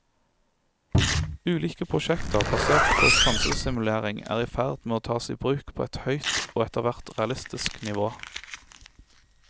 Ulike prosjekter basert på sansesimulering er i ferd med å tas i bruk på et høyt og etterhvert realistisk nivå.